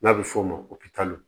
N'a bɛ f'o ma ko